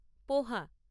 পোহা।